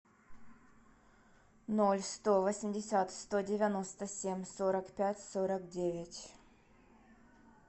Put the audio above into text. ноль сто восемьдесят сто девяносто семь сорок пять сорок девять